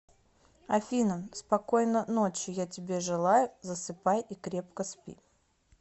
афина спокойно ночи я тебе желаю засыпай и крепко спи